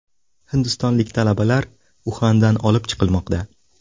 Hindistonlik talabalar Uxandan olib chiqilmoqda.